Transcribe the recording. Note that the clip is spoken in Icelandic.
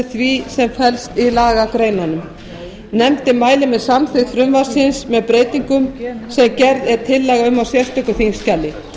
því sem felst í lagagreinunum nefndin mælir með samþykkt frumvarpsins með breytingum sem gerð er tillaga um á sérstöku þingskjali